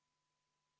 Head kolleegid!